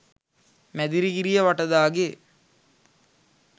Medirigiriya Vatadage,